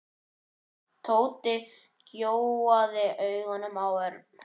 Tóti gjóaði augunum á Örn.